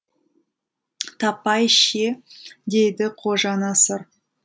таппай ше дейді қожанасыр